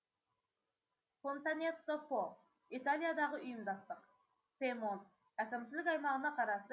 фонтанетто по италиядағы ұйымдастық пьемонт әкімшілік аймағына қарасты